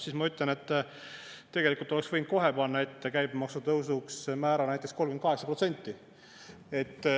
" Siis ma ütlen, et tegelikult oleks võinud kohe panna ette käibemaksutõusuks määra näiteks 38%.